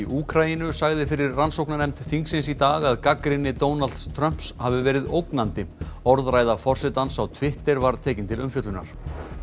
Úkraínu sagði fyrir rannsóknarnefnd þingsins í dag að gagnrýni Donalds Trumps hafi verið ógnandi orðræða forsetans á Twitter var tekin til umfjöllunar